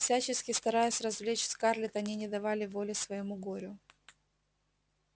всячески стараясь развлечь скарлетт они не давали воли своему горю